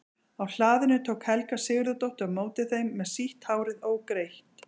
Á hlaðinu tók Helga Sigurðardóttir á móti þeim með sítt hárið ógreitt.